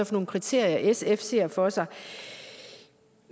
for nogle kriterier sf ser for sig